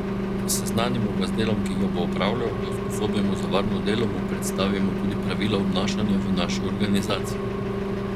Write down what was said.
Seznanimo ga z delom, ki ga bo opravljal, ga usposobimo za varno delo, mu predstavimo tudi pravila obnašanja v naši organizaciji.